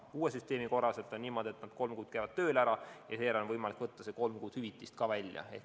Uue süsteemi korral on niimoodi, et nad käivad kolm kuud tööl ja seejärel on võimalik võtta see kolm kuud hüvitist välja.